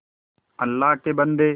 अल्लाह के बन्दे